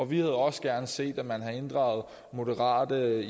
vi havde også gerne set at man havde inddraget moderate